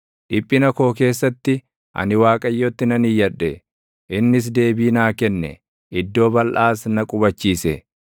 Dhiphina koo keessatti ani Waaqayyotti nan iyyadhe; innis deebii naa kenne; iddoo balʼaas na qubachiise.